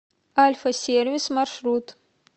альфа сервис маршрут